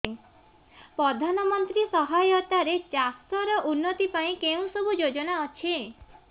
ପ୍ରଧାନମନ୍ତ୍ରୀ ସହାୟତା ରେ ଚାଷ ର ଉନ୍ନତି ପାଇଁ କେଉଁ ସବୁ ଯୋଜନା ଅଛି